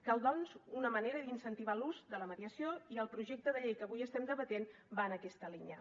cal doncs una manera d’incentivar l’ús de la mediació i el projecte de llei que avui estem debatent va en aquesta línia